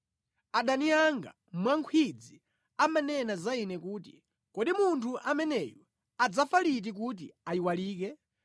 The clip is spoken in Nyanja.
Adani anga mwankhwidzi amanena za ine kuti, “Kodi munthu ameneyu adzafa liti kuti ayiwalike?”